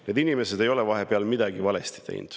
Need inimesed ei ole vahepeal midagi valesti teinud.